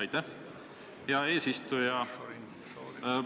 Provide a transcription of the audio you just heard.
Aitäh, hea eesistuja!